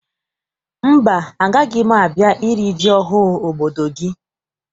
Mba, agaghị m a bịa iri ji ọhụụ obodo gị.